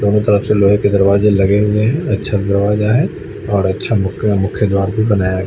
दोनों तरफ से लोहे के दरवाजे लगे हुए है अच्छा दरवाजा है और अच्छा मूक मुख्य द्वार भी बनाया--